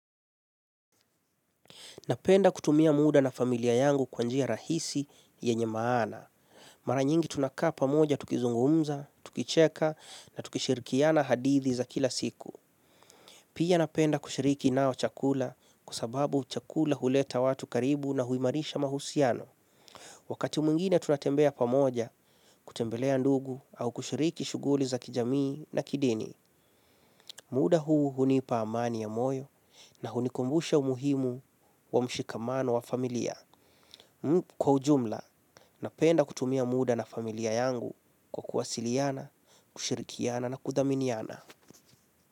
Napenda kutumia muda na familia yangu kwa njia rahisi yenye maana. Mara nyingi tunakaa pamoja tukizungumza tukicheka na tukishirikiana hadithi za kila siku. Pia napenda kushiriki nao chakula kwa sababu chakula huleta watu karibu na huimarisha uhusiano. Wakati mwngine tunatembea pamoja kutembelea ndugu au kushiriki shughuli za kijamii na kidini. Muda huu hunipa amani ya moyo na hunikumbusha umuhimu wa mshikamano wa familia kwa ujumla napenda kutumia muda na familia yangu kwa kuwasiliana, kushirikiana na kudhaminiana.